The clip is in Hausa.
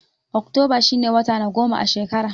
Oktoba shi ne wata na goma a shekara.